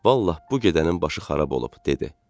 Vallahi, bu gedənin başı xarab oldu, dedi.